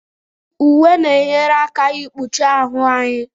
Uwe na-enyere aka ikpuchi ahụ anyị.